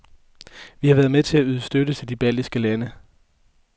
Vi har været med til at yde støtte til de baltiske lande.